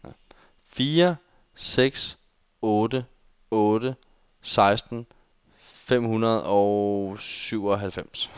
fire seks otte otte seksten fem hundrede og syvoghalvfems